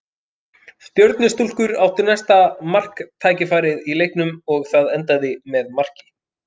Stjörnustúlkur áttu næsta marktækifærið í leiknum og það endaði með marki.